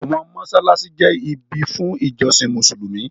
Àwọn mọ́ṣáláṣí jẹ́ ibi fún ìjọsìn Mùsùlùmí.